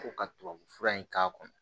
Ko ka tubabufura in k'a kɔnɔ